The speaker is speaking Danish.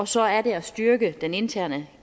så er det at styrke den interne